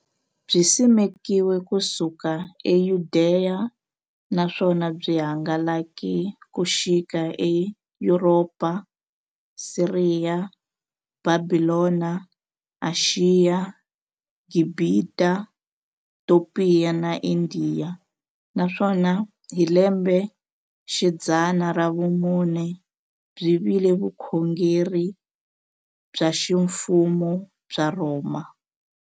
Byisimekiwe ku suka eYudeya, naswona byi hangalake ku xika eYuropa, Siriya, Bhabhilona, Ashiya, Gibhita, Topiya na Indiya, naswona hi lembexidzana ra vumune byi vile vukhongeri bya ximfumo bya le Rhoma.